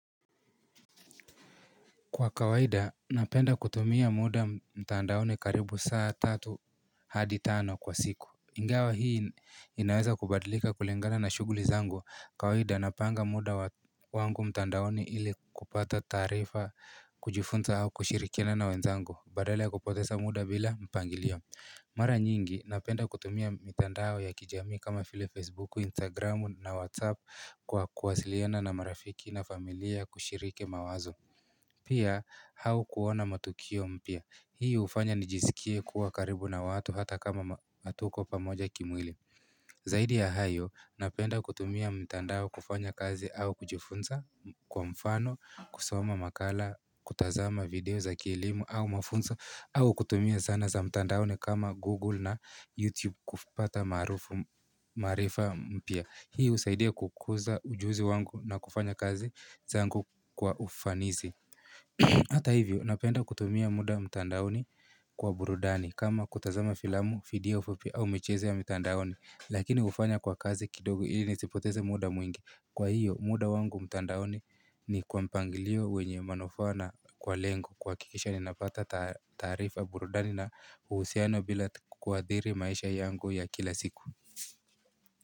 Kwa kawaida, napenda kutumia muda mtandaoni karibu saa tatu hadi tano kwa siku. Ingawa hii inaweza kubadilika kulingana na shughuli zangu. Kawaida, napanga muda wangu mtandaoni ili kupata taarifa kujifunza au kushirikina na wenzangu. Badala ya kupoteza muda bila mpangilio. Mara nyingi, napenda kutumia mtandao ya kijamii kama vile Facebook, Instagram na WhatsApp kwa kuwasiliana na marafiki na familia kushiriki mawazo. Pia, au kuona matukio mpya. Hii hufanya nijisikie kuwa karibu na watu hata kama hatuko pamoja kimwili. Zaidi ya hayo, napenda kutumia mtandao kufanya kazi au kujifunza kwa mfano, kusoma makala, kutazama video za kielimu au mafunzo, au kutumia zana za mtandaoni kama Google na YouTube kufuata maarifa mpya. Hii husaidia kukuza ujuzi wangu na kufanya kazi zangu kwa ufanisi. Hata hivyo napenda kutumia muda mtandaoni kwa burudani kama kutazama filamu, iliyofupi au michezo ya mtandaoni lakini hufanya kwa kazi kidogo ili nisipoteze muda mwingi. Kwa hiyo muda wangu mtandaoni ni kwa mpangilio wenye manufaa na kwa lengo kuhakikisha ninapata taarifa burudani na uhusiano bila kuathiri maisha yangu ya kila siku.